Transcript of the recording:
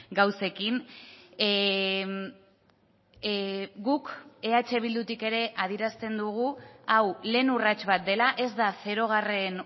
gauzekin guk eh bildutik ere adierazten dugu hau lehen urrats bat dela ez da zerogarren